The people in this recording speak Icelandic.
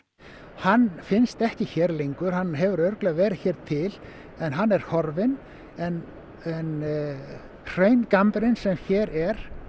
hann finnst ekki hér lengur hann hefur örugglega verið hér til en hann er horfinn en en hraungambrinn sem hér er